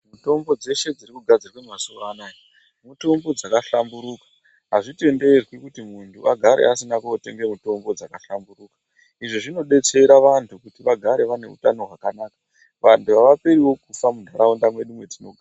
Mitombo dzeshe dziri kugadzirwa mazuwanaya mitombo dzakahlamburuka azvitenderwi kuti muntu agare asina kootenga mitombo dzakahlamburuka izvi zvinodetsera vantu kuti vagare vaine utano hwakanaka vantu havaperiwo kufa muntaraunda mwedu mwetinogara.